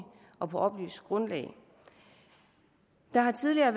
og på oplyst grundlag der har tidligere